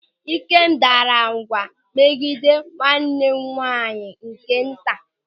Ikem daara ụ̀gwa megide nwanne nwaanyị nke nta.